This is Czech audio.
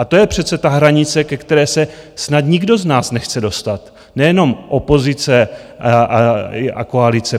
A to je přece ta hranice, ke které se snad nikdo z nás nechce dostat, nejenom opozice a koalice.